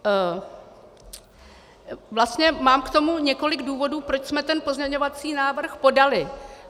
Vlastně mám k tomu několik důvodů, proč jsme ten pozměňovací návrh podali.